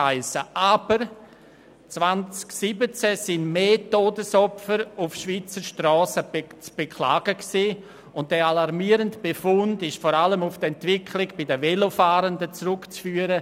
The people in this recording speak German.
Aber 2017 waren mehr Todesopfer auf Schweizer Strassen zu beklagen, und dieser alarmierende Befund ist vor allem auf die Entwicklung bei den Velofahrenden zurückzuführen.